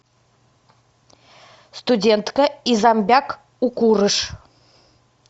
студентка и зомбяк укурыш